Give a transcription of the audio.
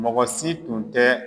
Mɔgɔ si tun tɛ